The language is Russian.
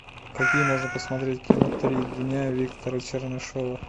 какие можно посмотреть кино три дня виктора чернышева